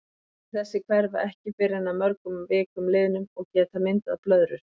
Blettir þessir hverfa ekki fyrr en að mörgum vikum liðnum og geta myndað blöðrur.